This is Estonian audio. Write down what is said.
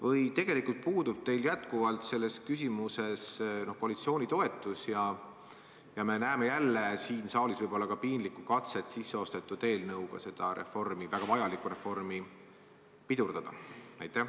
Või tegelikult puudub teil jätkuvalt selles küsimuses koalitsiooni toetus ja me näeme jälle siin saalis võib-olla ka piinlikku katset sisseostetud eelnõuga seda väga vajalikku reformi pidurdada?